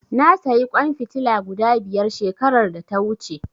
Na sayi ƙwan fitila guda biyar shekarar da ta wuce.